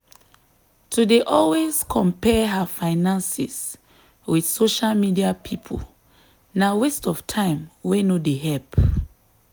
to dey always compare her finances with social media people na waste of time wey no dey help.